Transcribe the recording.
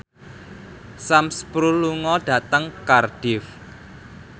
Sam Spruell lunga dhateng Cardiff